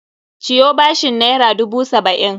Ciyo bashin naira dubu saba'in!